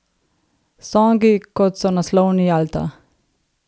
Songi, kot so naslovni Jalta!